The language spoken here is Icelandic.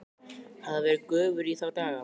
Hafði hann verið göfugri í þá daga?